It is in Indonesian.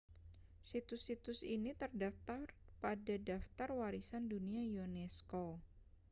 situs-situs ini terdaftar pada daftar warisan dunia unesco